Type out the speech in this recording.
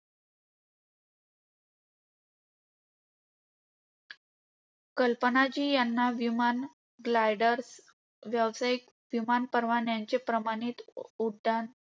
कल्पना जी यांना विमान, gliders आणि व्यावसायिक विमान परवान्यांचे प्रमाणित उड्डाण